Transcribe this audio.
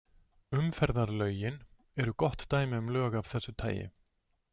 Umferðarlögin eru gott dæmi um lög af þessu tagi.